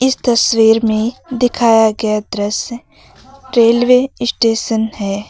इस तस्वीर में दिखाया गया दृश्य रेलवे ई स्टेशन है।